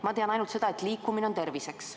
Ma tean ainult seda, et liikumine on terviseks.